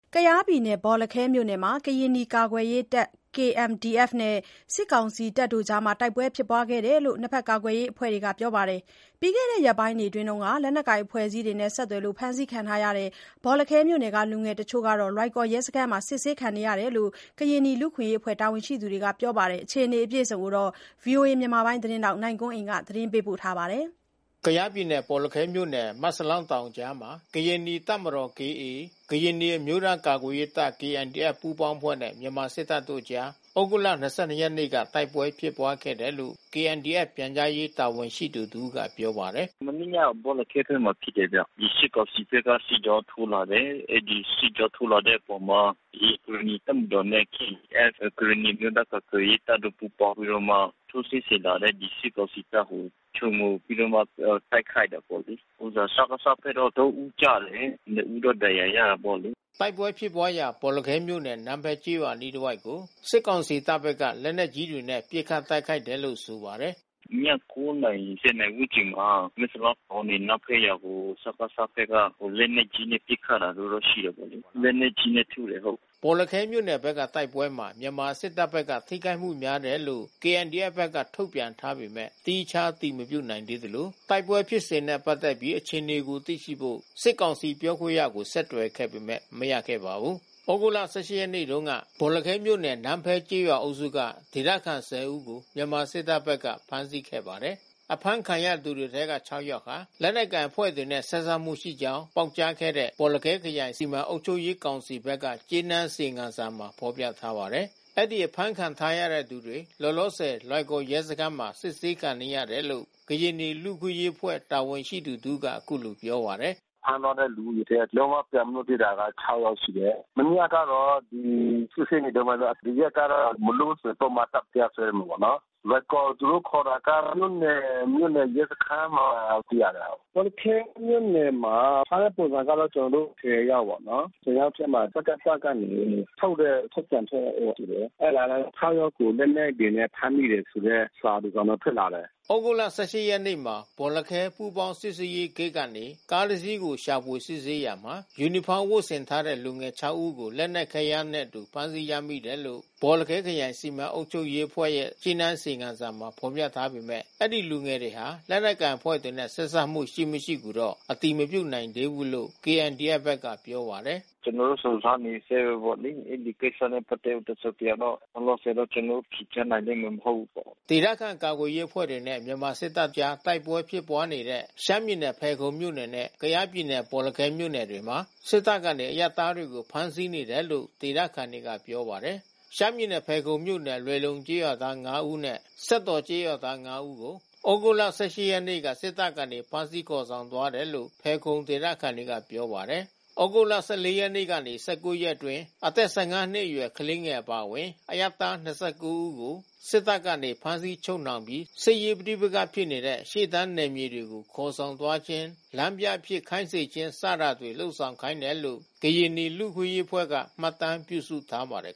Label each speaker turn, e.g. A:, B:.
A: ကယားပြည်နယ် ဘော်လခဲမြို့နယ်မှာ ကရင်နီကာကွယ်ရေးတပ်ဖွဲ့ KNDF နဲ့ စစ်ကောင်စီတပ်တွေအကြား တိုက်ပွဲ ဖြစ်ပွါးခဲ့တယ်လို့ ကာကွယ်ရေးအဖွဲ့ဘက်က ပြောပါတယ်။ ပြီးခဲ့တဲ့ရက်ပိုင်းတွေက လက်နက်ကိုင်အဖွဲ့အစည်းတွေနဲ့ ဆက်စပ်တယ်ဆိုပြီး ဖမ်းဆီးခံထား ရတဲ့ ဘော်လခဲမြို့နယ်က လူငယ်တချို့ကတော့ လွိုင်ကော်ရဲစခန်းမှာ စစ်ဆေးခံနေရတယ်လို့ ကရင်နီလူ့အခွင့်အရေးအဖွဲ့ တာဝန်ရှိသူ တွေက ပြောပါတယ်။ ဗွီအိုအေသတင်းထောက် နိုင်ကွန်းအိန်က တင်ပြပေးထားပါတယ်။
B: ကယားပြည်နယ်၊ ဘော်လခဲမြို့နယ် မက်စလောင်းတောင်အကြားမှာ ကရင်နီတပ်မတော် (KA) ကရင်နီအမျိုးသား ကာကွယ်ရေးအဖွဲ့ KNDF ပူးပေါင်းအဖွဲ့နဲ့ မြန်မာစစ်တပ်တို့ကြား သြဂုတ်လ ၂၂ ရက်နေ့ကတိုက်ပွဲဖြစ်ပွါးခဲ့တယ်လို့ KNDF ပြန်ကြားရေး တာဝန်ရှိသူတဦးက ပြောပါတယ်။ “မနေ့က
A: ဘော်လခဲဘက်ဖြစ်တယ်ဗျ။ဒီစစ်ကောင်စီဘက်ကစစ်ကြောင်းထိုးလာတယ်။ အဲဒီစစ်ကြောင်းထိုးလာတဲ့ အပေါ်မှာ (KA) ကရင်နီ တပ်မတော်နဲ့ KNDF ကရင်နီအမျိုးသား ကာကွယ်ရေးတပ်တို့ ပူးပေါင်းပြီးတော့မှ ထိုးစစ်ဆင်လာတဲ့ စစ်ကောင်စီတပ်ကို ခြုံခိုပြီးတော့မှ တိုက်ခိုက်တာ
C: ပေါ့လေ။ စကစဘက်ကတော့ (၃) ဦးကျတယ်။ နှစ်ဦးတော့ ဒဏ်ရာရတာပေါ့လေ။
B: ” တိုက်ပွဲဖြစ်ပွားရာ ဘော်လခဲမြို့နယ် နန်းဖဲကျေးရွာအနီးတဝိုက်ကို စစ်ကောင်စီတပ်ဘက်က လက်နက်ကြီးတွေနဲ့ ပစ်ခတ်တိုက်ခိုက်တယ်လို့ ဆိုပါတယ်။
A: “ည (၉) နာရီ (၁၀) နာရီဝန်းကျင်မှာ မက်စလောင်းတောင်ပေါ်ကနေ နန်းဖဲရွာက စကစဘက်ကလက်နက်ကြီးနဲ့ ပစ်ခတ်တာမျိုးတော့ ရှိတာပေါ့လေ။ လက်နက်ကြီးနဲ့ထုတာ။”
B: ဘော်လခဲမြို့နယ်ဘက်ကတိုက်ပွဲမှာ မြန်မာစစ်တပ်ဘက်က ထိခိုက်မှုများတယ်လို့ KNDF ဘက်ကထုတ်ပြန်ထားပေမဲ့ သီးခြားအတည်မပြုနိုင် သေးသလို တိုက်ပွဲဖြစ်စဉ်နဲ့ပတ်သက်ပြီး အခြေအနေကိုသိရှိဖို့ စစ်ကောင်စီပြောခွင့်ရကို ဆက်သွယ်ခဲ့ပေမယ့် မရခဲ့ပါဘူး။ သြဂုတ်လ (၁၈) ရက်နေ့တုန်းက ဘော်လခဲမြို့နယ် နန်းဖဲကျေးရွာအုပ်စုက ဒေသခံ (၁၀) ဦးကို မြန်မာစစ်တပ်ဘက်က ဖမ်းဆီးခဲ့ပါတယ်။ အဖမ်းခံရသူတွေ ထဲက ၆ ယောက်ဟာ လက်နက်ကိုင်အဖွဲ့တွေနဲ့ ဆက်စပ်မှုရှိကြောင်း ပေါက်ကြားခဲ့တဲ့ ဘော်လခဲခရိုင် စီမံအုပ်ချုပ်ရေးကောင်စီဘက်က ကြေးနန်း အစီရင်ခံစာမှာ ဖော်ပြထားပါတယ်။ အဲဒီအဖမ်းခံထားရသူတွေ လောလောဆယ် လွိုင်ကော်မြို့ ရဲစခန်းမှာ စစ်ဆေးခံနေရတယ်လို့ ကရင်နီ လူ့အခွင့်အရေးအဖွဲ့ တာဝန်ရှိသူတဦးက အခုလိုပြောပါတယ်။
C: “ဖမ်းသွားတဲ့လူတွေထဲက လုံးဝပြန်မလွတ်သေးတာ (၆) ယောက်ရှိတယ်။ မနေ့ကတော့ စစ်ဆေးနေတုန်းပဲ။ ဒီရက်ကတော့ မလွတ်ဘူးဆိုရင် ပုဒ်မတပ် တရားစွဲမယ်ပေါ့နော်။ လွိုင်ကော် သူတို့ခေါ်တာက မြို့နယ်ရဲစခန်းမှာသိရတယ်။ ဘော်လခဲမြို့နယ်မှာ အဖမ်းဆီးခံရတာကတော့ (၁၀) ယောက်ပေါ့နော်။ (၁၀) ယောက်ထဲမှာ စကစ ကနေထုတ်တဲ့ထုတ်ပြန်ချက်ရှိတယ်။ အဲဒါလည်း (၆) ယောက်ကိုလက်နက်တွေနဲ့ ဖမ်းမိတယ် ဆိုတဲ့ စာတစောင်တော့ ထွက် လာတယ်။ (
B: ၆) ယောက်က သူတို့ အခေါ်အဝေါ်ကတော့ လက်နက်တွေနဲ့ ဖမ်းမိတယ်ပေါ့နော်။” သြဂုတ်လ (၁၈) ရက်မှာ ဘော်လခဲ ပူးပေါင်းစစ်ဆေးရေးဂိတ်ကနေ ကားတစီးကိုရှာဖွေစစ်ဆေးရာမှာ ယူနီဖောင်းဝတ်ဆင်ထားတဲ့ လူငယ် (၆) ဦးကို လက်နက်ခဲယမ်းတွေနဲ့အတူ ဖမ်းဆီးရမိတယ်လို့ ဘော်လခဲခရိုင် စီမံအုပ်ချုပ်ရေးအဖွဲ့ရဲ့ကြေးနန်းအစီရင်ခံစာမှာ ဖော်ပြထားပေမဲ့ ဒီလူငယ်တွေဟာ လက်နက်ကိုင်အဖွဲ့တွေနဲ့ ဆက်စပ်မှုရှိမရှိကိုတော့ အတည်မပြုနိုင်သေးဘူးလို့ KNDF ဘက်က ပြောပါတယ်။
C: “ကျနော်တို့ စုံစမ်းနေဆဲပဲပေါ့လေ။ အဲဒီကိစ္စနဲ့ပတ်သက်ပြီးတော့ တစုံတရာ လောလောဆယ်တော့ ကျနော်တို့ ဖြေကြားပေးနိုင်မယ် မဟုတ်ဘူးပေါ့။
B: ” ဒေသခံကာကွယ်ရေးအဖွဲ့တွေနဲ့ မြန်မာစစ်တပ်တို့အကြား တိုက်ပွဲဖြစ်ပွါးနေတဲ့ ရှမ်းပြည်နယ်ဖယ်ခုံမြို့နယ်နဲ့ ကယား ပြည်နယ် ဘော်လခဲ မြို့နယ်တွေမှာ စစ်တပ်က အရပ်သားတွေကို ဖမ်းဆီးနေတယ်လို့ ဒေသခံတွေက ပြောပါတယ်။ ရှမ်းပြည်နယ် ဖယ်ခုံမြို့နယ် လွယ်လုံကျေးရွာ သား (၅)ဦးနဲ့ စက်တော်ကျေးရွာသား (၅) ဦးကို သြဂုတ် ၁၈ ရက်နေ့က စစ်တပ်ကနေ ဖမ်းဆီးခေါ်ဆောင်သွားတယ်လို့ ဖယ်ခုံ ဒေသခံတွေ က ပြောပါတယ်။ သြဂုတ်(၁၄) ရက်ကနေ (၁၉) ရက်အတွင်း အသက် ၁၅ နှစ်အရွယ် ကလေးငယ်အပါအဝင် အရပ်သား ၂၉ ဦးကို စစ်တပ် က ဖမ်းဆီးချုပ်နှောင်ပြီး စစ်ရေးပဋိပက္ခဖြစ်နေတဲ့ ရှေ့တန်းနယ်မြေတွေကို ခေါ်ဆောင်သွားခြင်း၊ လမ်းပြအဖြစ်ခိုင်းစေခြင်းတွေ လုပ်ဆောင်ခိုင်းခဲ့တယ်လို့ ကရင်နီလူ့အခွင့်အရေးအဖွဲ့က မှတ်တမ်းပြုစုထားပါတယ်